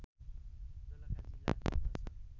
दोलखा जिल्ला पर्दछ